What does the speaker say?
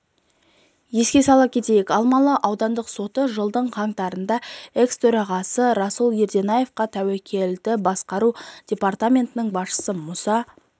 еске сала кетейік алмалы аудандық соты жылдың қаңтарында экс-төрағасы руслан ерденаевқа тәуекелдерді басқару департаментінің басшысы мұса